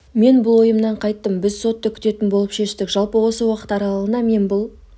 мен бұл ойымнан қайттым біз сотты күтетін болып шештік жалпы осы уақыт аралығында мен бұл